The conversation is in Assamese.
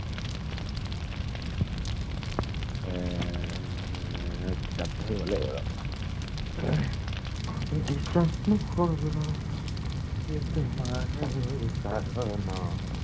এৰ কিতাপ পঢ়িব লাগিব ৰ।